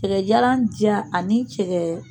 Cɛkɛjala diya ani cɛkɛ